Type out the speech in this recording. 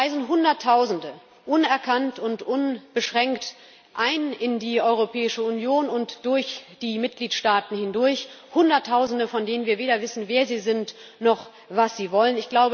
Es reisen Hunderttausende unerkannt und unbeschränkt in die Europäische Union ein und durch die Mitgliedstaaten hindurch, Hunderttausende, von denen wir weder wissen, wer sie sind, noch, was sie wollen.